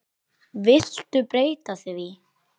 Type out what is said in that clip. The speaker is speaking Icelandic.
Viltu breyta því